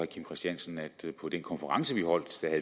kim christiansen at der på den konference vi holdt